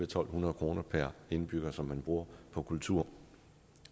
to hundrede kroner per indbygger som man bruger på kultur